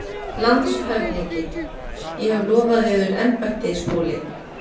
LANDSHÖFÐINGI: Ég hef lofað yður embætti, Skúli.